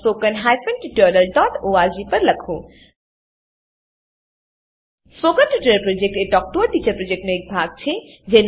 spoken tutorial project talk to a teacher પ્રોજેક્ટનો એક ભાગ છે